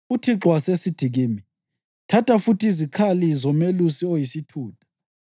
UThixo wasesithi kimi, “Thatha futhi izikhali zomelusi oyisithutha.